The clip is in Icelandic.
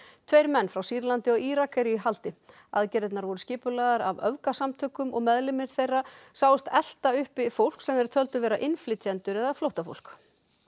tveir menn frá Sýrlandi og Írak eru í haldi aðgerðirnar voru skipulagðar af öfgasamtökum og meðlimir þeirra sáust elta uppi fólk sem þeir töldu vera innflytjendur eða flóttafólk